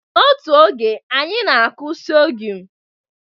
N'otu oge, anyị na-akụ sorghum